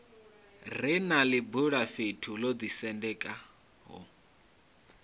re na ḽibulafhethu ḽo ḓisendekaho